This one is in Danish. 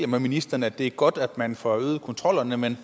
med ministeren at det er godt at man får øget kontrollerne men